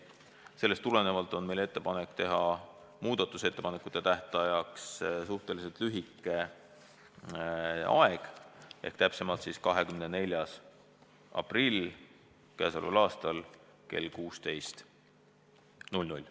Sellest tulenevalt on meil ettepanek teha muudatusettepanekute tähtajaks suhteliselt lühike aeg, täpsemalt on tähtaeg 24. aprill kell 16.00.